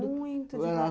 Mas muito devagar.